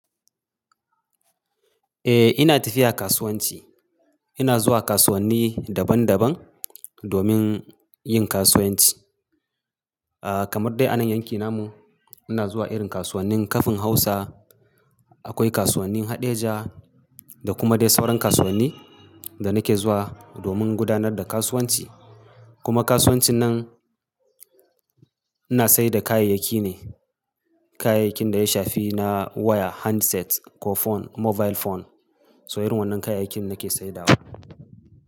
Eh ina tafiya kasuwanci. Ina zuwa kasuwanni daban daban domin yin kasuwanci. Ah kamar dai anan yankin namu ina zuwa irin kasuwannin Kafin Hausa, akwai kasuwannin Haɗeja da kuma dai sauran kasuwanni da nake zuwa domin gudanar da kasuwanci. Kuma kasuwanci nan ina saida kayayyaki ne, kayayyakin da ya shafi na waya, handsets ko phone, mobile phone. So irin wannan kayayyakin nake saidawa.